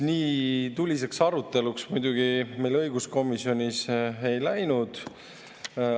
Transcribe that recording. Nii tuliseks aruteluks muidugi meil õiguskomisjonis ei läinud.